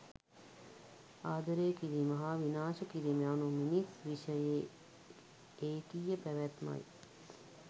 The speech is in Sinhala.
ආදරය කිරීම හා විනාශ කිරීම යනු මිනිස් විෂයේ ඒකීය පැවැත්මයි.